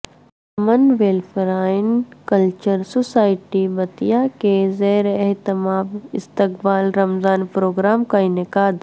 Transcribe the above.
امن welfare and cultural society Bettiah کے زیراہتمام استقبال رمضان پروگرام کا انعقاد